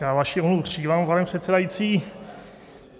Já vaši omluvu přijímám, pane předsedající.